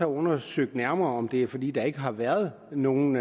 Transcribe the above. undersøgt nærmere om det er fordi der ikke har været nogen